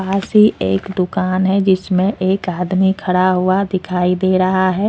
पास ही एक दुकान है जिसमें एक आदमी खड़ा हुआ दिखाई दे रहा है।